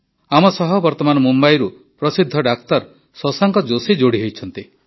ଆମ ସହ ବର୍ତମାନ ମୁମ୍ବାଇରୁ ପ୍ରସିଦ୍ଧ ଡାକ୍ତର ଶଶାଙ୍କ ଜୋଷୀ ଯୋଡ଼ି ହୋଇଛନ୍ତି